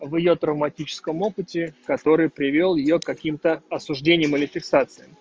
вы о травматическом опыте который привёл её каким-то осуждением или фиксации